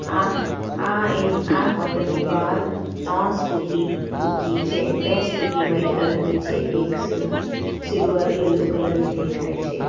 આ આ એન આ હોટલની બહાર ત્રણ સ્કૂટી મૂકી છે બે સ્કૂટી વાઈટ કલરની છે એક સીલ સિલ્વર યલો કલરની દેખાય છે.